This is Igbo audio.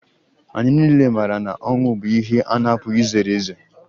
Anyị niile maara na ọnwụ bụ ihe a na-apụghị izere ezere